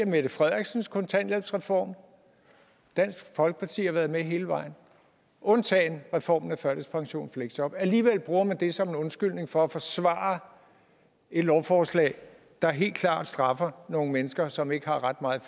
mette frederiksens kontanthjælpsreform dansk folkeparti har været med hele vejen undtagen reformen af førtidspension og fleksjob alligevel bruger man det som en undskyldning for at forsvare et lovforslag der helt klart straffer nogle mennesker som ikke har ret meget